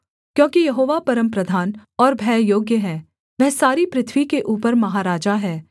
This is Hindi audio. क्योंकि यहोवा परमप्रधान और भययोग्य है वह सारी पृथ्वी के ऊपर महाराजा है